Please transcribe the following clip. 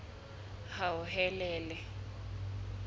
hauhelele